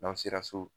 N'an sera so